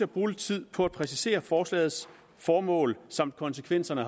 bruge lidt tid på at præcisere forslagets formål samt konsekvenserne